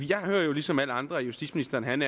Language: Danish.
jeg hører jo ligesom alle andre at justitsministeren